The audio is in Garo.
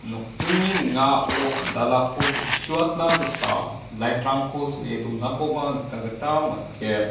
nokdringni ning·ao andalako teng·suatna gita lait rangko so·e donakoba nikna gita man·gen.